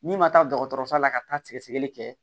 N'i ma taa dɔgɔtɔrɔso la ka taa sɛgɛsɛgɛli kɛ